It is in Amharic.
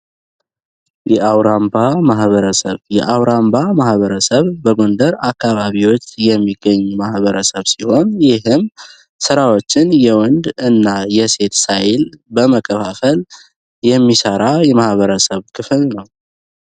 የአውራምባ ማሕበረሰብ የአውራምባ ማህበረሰብ በጎንደር አካባቢዎች የሚገኝ ማሕበረሰብ ሲሆን ይህም ሥራዎችን የወንድ እና የሴት ሳይል በመከፋፈል የሚሳራ የማሕበረሰብ ክፍል ነው።